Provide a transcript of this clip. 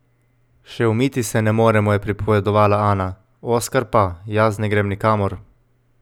Še umiti se ne moremo,' je pripovedovala Ana, Oskar pa: 'Jaz ne grem nikamor.